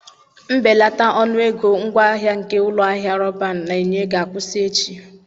Mbelata ọnụ ego ngwaahịa nke ụlọ ahịa Roban na-enye ga-akwụsị echi.